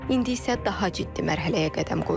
İndi isə daha ciddi mərhələyə qədəm qoyulur.